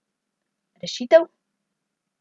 Rešitev?